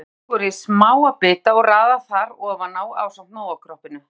Súkkulaðið er skorið í smáa bita og raðað þar ofan á ásamt Nóa-kroppinu.